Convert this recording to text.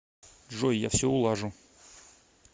джой я все улажу